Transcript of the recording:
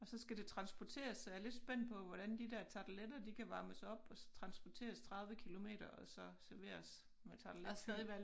Og så skal det transporteres så jeg lidt spændt på hvordan de der tarteletter de kan varmes op og transporteres 30 kilometer og så serveres med tarteletfyld